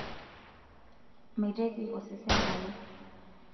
meitoki osesen alo